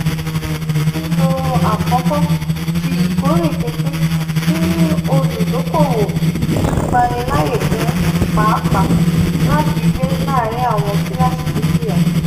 lilo akọkọ ti ikore pinpin si oludokoowo ngbanilaaye fun paapaa lafiwe laarin awọn kilasi dukia.